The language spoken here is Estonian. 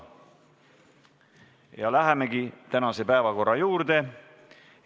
Ja lähemegi tänase päevakorra juurde.